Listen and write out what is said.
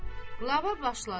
Qulava başladı.